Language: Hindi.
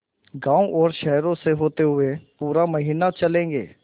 गाँवों और शहरों से होते हुए पूरा महीना चलेंगे